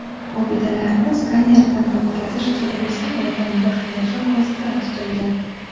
Obidalarni skanerdan o‘tkazish kelgusi oydan boshlanishi ko‘zda tutilgan.